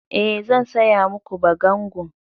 E, zan saya ma ku bagangun.